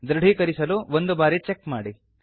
ಧೃಡೀಕರಿಸಲು ಒಂದು ಬಾರಿ ಚೆಕ್ ಮಾಡಿ